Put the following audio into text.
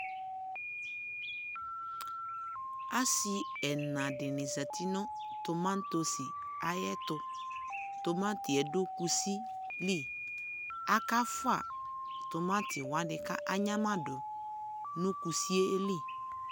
asi ɛna dini zati no tomatos ayɛto tomatiɛ do kusi li aka fua tomati wani ko anyamado no kusie li